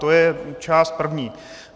To je část první.